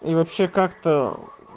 и вообще как-то